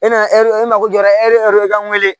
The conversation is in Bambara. E na ɛri mago jɔra e yɛrɛ ka n wele